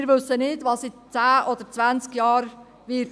Wir wissen nicht, was in zehn oder zwanzig Jahren sein wird.